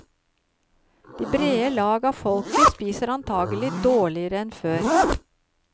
De brede lag av folket spiser antakelig dårligere enn før.